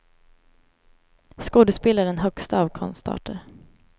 Skådespel är den högsta av konstarter.